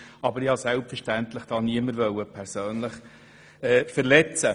Aber ich wollte selbstverständlich niemanden verletzen.